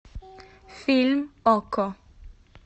фильм окко